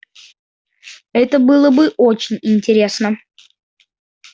это было бы очень интересно